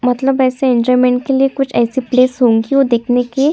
मतलब ऐसे एंजॉयमेंट के लिए कुछ ऐसी प्लेस होंगी वो देखने के --